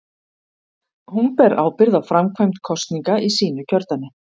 Hún ber ábyrgð á framkvæmd kosninga í sínu kjördæmi.